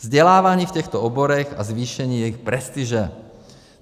Vzdělávání v těchto oborech a zvýšení jejich prestiže.